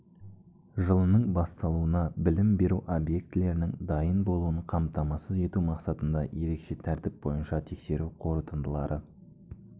жылының басталуына білім беру объектілерінің дайын болуын қамтамасыз ету мақсатында ерекше тәртіп бойынша тексеру қорытындылары